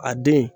A den